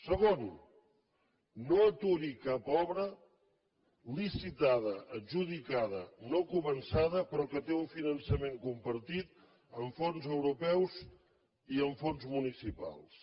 segon no aturi cap obra licitada adjudicada no començada però que té un finançament compartit amb fons europeus i amb fons municipals